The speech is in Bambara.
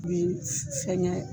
Bi fɛngɛ